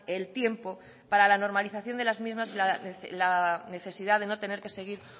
el tiempo para la normalización de las mismas y la necesidad de no tener que seguir